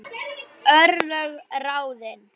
Örlög ráðin